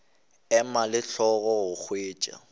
ema le hlogo go hwetša